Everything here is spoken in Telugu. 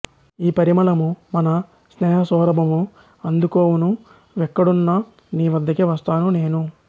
ఈ పరిమళము మన స్నేహసౌరభము అందుకొవూనూ వెక్కడున్న నీవద్దకే వస్తాను నేను